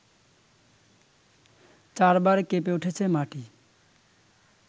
চার বার কেঁপে উঠেছে মাটি